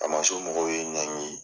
Faamaso mɔgɔw ye n ɲangi .